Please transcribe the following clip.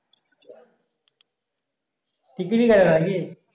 ticket ই কাটে না নাকি?